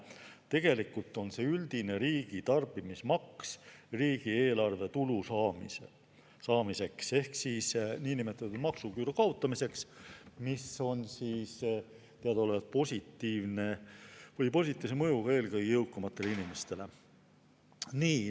Tegelikult on see üldine riigi tarbimismaks riigieelarve tulu saamiseks ehk niinimetatud maksuküüru kaotamiseks, mis on teadaolevalt positiivse mõjuga eelkõige jõukamatele inimestele.